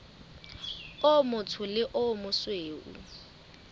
o motsho le o mosweu